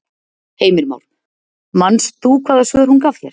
Heimir Már: Manst þú hvaða svör hún gaf þér?